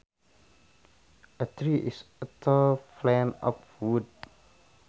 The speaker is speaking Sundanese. A tree is a tall plant of wood